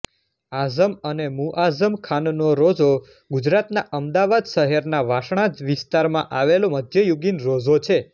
આઝમ અને મુઆઝમ ખાનનો રોઝો ગુજરાતના અમદાવાદ શહેરના વાસણા વિસ્તારમાં આવેલો મધ્યયુગીન રોઝો છે